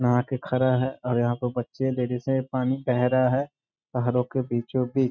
नहा के खड़ा है और यहाँ पे बच्चें देरी से पानी बह रहा है पहाड़ों के बीचों-बीच।